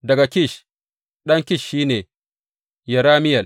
Daga Kish, ɗan Kish shi ne, Yerameyel.